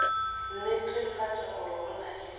netefatša gore go na le